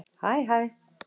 Hæ hæ